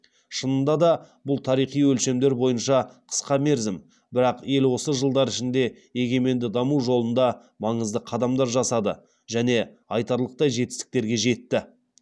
шынында да бұл тарихи өлшемдер бойынша қысқа мерзім бірақ ел осы жылдар ішінде егеменді даму жолында маңызды қадамдар жасады және айтарлықтай жетістіктерге жетті